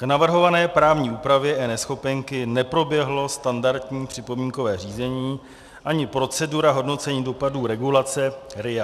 K navrhované právní úpravě eNeschopenky neproběhlo standardní připomínkové řízení ani procedura hodnocení dopadu regulace RIA.